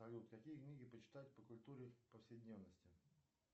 салют какие книги почитать по культуре повседневности